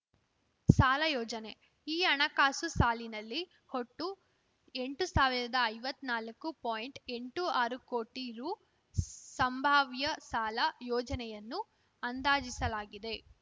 ಸಾಲ ಯೋಜನೆ ಈ ಹಣಕಾಸು ಸಾಲಿನಲ್ಲಿ ಒಟ್ಟು ಎಂಟು ಸಾವಿರದ ಐವತ್ನಾಲ್ಕು ಪಾಯಿಂಟ್ಎಂಟು ಆರು ಕೋಟಿ ರು ಸಂಭಾವ್ಯ ಸಾಲ ಯೋಜನೆಯನ್ನು ಅಂದಾಜಿಸಲಾಗಿದೆ